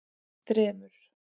þremur